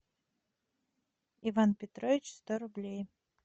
иван петрович сто рублей